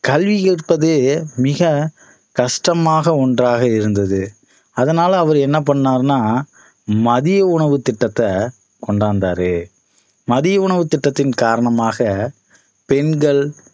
கல்வி கற்பதே மிக கஷ்டமாக ஒண்றாக இருந்தது அதனால அவர் என்ன பண்ணாருன்னா மதிய உணவு திட்டத்தை கொண்டு வந்தாரு மதிய உணவுத் திட்டத்தின் காரணமாக பெண்கள்